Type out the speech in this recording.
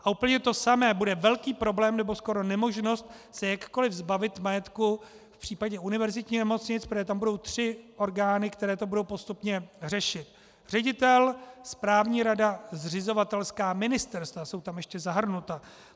A úplně to samé, bude velký problém, nebo skoro nemožnost se jakkoli zbavit majetku v případě univerzitních nemocnic, protože tam budou tři orgány, které to budou postupně řešit - ředitel, správní rada, zřizovatelská ministerstva jsou tam ještě zahrnuta.